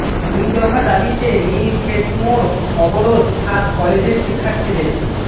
দুই দফা দাবিতে নীলক্ষেত মোড় অবরোধ সাত কলেজের শিক্ষার্থীদের